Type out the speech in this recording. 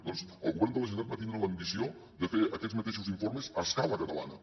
doncs el govern de la generalitat va tindre l’ambició de fer aquests mateixos informes a escala catalana